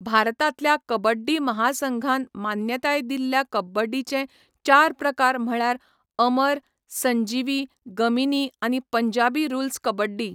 भारतांतल्या कबड्डी महासंघान मान्यताय दिल्ल्या कबड्डीचे चार प्रकार म्हळ्यार अमर, संजीवी, गमीनी आनी पंजाबी रुल्स कबड्डी.